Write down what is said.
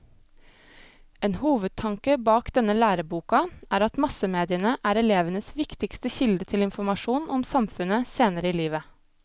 En hovedtanke bak denne læreboka er at massemediene er elevenes viktigste kilde til informasjon om samfunnet senere i livet.